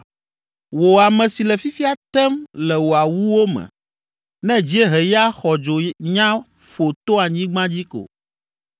Wò ame si le fifia tem le wò awuwo me, ne dzieheya xɔdzo nya ƒo to anyigba dzi ko,